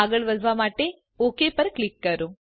આગળ વધવા માટે ઓક પર ક્લિક કરો